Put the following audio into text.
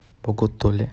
боготоле